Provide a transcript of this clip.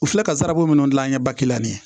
U filɛ ka sarako minnu dilan an ɲɛ bakɛri